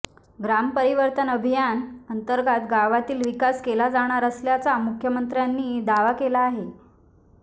ग्राम परिवर्तन अभियानाअंतर्गत गावातील विकास केला जाणार असल्याचा मुख्यमंत्र्यांनी दावा केला आहे